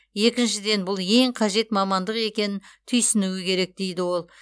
екіншіден бұл ең қажет мамандық екенін түйсінуі керек дейді ол